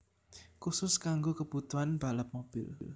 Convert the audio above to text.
Khusus kanggo kebutuhan balap mobil